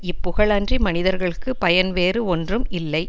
இப்புகழ் அன்றி மனிதர்க்குப் பயன் வேறு ஒன்றும் இல்லை